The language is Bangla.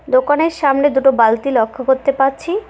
দোকানের সামনে দুটো বালতি লক্ষ্য করতে পারছি।